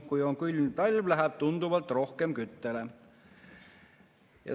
Kui on külm talv, läheb tunduvalt rohkem küttele.